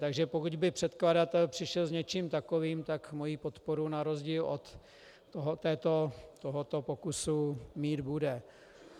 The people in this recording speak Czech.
Takže pokud by předkladatel přišel s něčím takovým, tak moji podporu na rozdíl od tohoto pokusu mít bude.